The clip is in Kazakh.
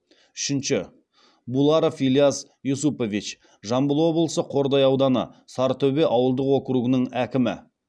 үшінші буларов ильяс юсупович жамбыл облысы қордай ауданы сарытөбе ауылдық округінің әкімі